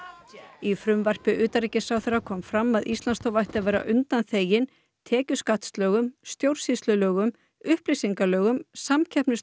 í frumvarpi utanríkisráðherra kom fram að Íslandsstofa ætti að vera undanþegin tekjuskattslögum stjórnsýslulögum upplýsingalögum samkeppnislögum